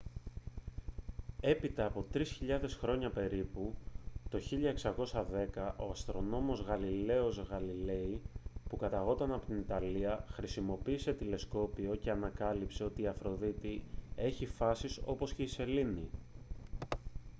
έπειτα από τρεις χιλιάδες χρόνια περίπου το 1610 ο αστρονόμος γαλιλαίος γαλιλέι που καταγόταν από την ιταλία χρησιμοποίησε τηλεσκόπιο και ανακάλυψε ότι η αφροδίτη έχει φάσεις όπως και η σελήνη